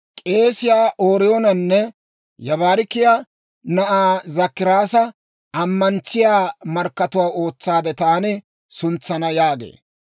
K'eesiyaa Ooriyoonanne Yibaarakiyaa na'aa Zakkaraasa ammantsiyaa markkatuwaa ootsaade taani suntsana» yaageedda.